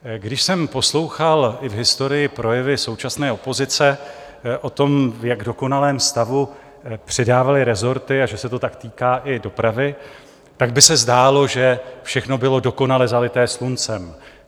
Když jsem poslouchal i v historii projevy současné opozice o tom, v jak dokonalém stavu předávali resorty a že se to tak týká i dopravy, tak by se zdálo, že všechno bylo dokonale zalité sluncem.